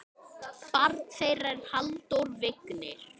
Barn þeirra er Halldór Vignir.